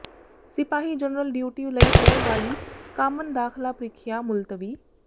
ਸਿਪਾਹੀ general duty ਲਈ ਹੋਣ ਵਾਲੀ ਕਾਮਨ ਦਾਖ਼ਲਾ ਪ੍ਰੀਖਿਆ ਮੁਲਤਵੀ